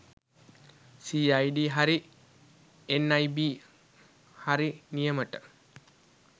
CID හරි NIB හරි නියමට